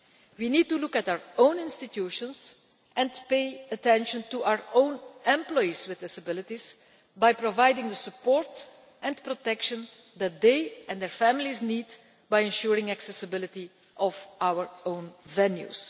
We need to look at our own institutions and pay attention to our own employees with disabilities by providing the support and protection that they and their families need, and by ensuring the accessibility of our own venues.